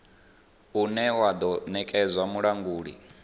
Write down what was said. une wa do nekedzwa mulanguli